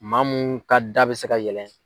Maa mun ka da bɛ se ka yɛlɛ.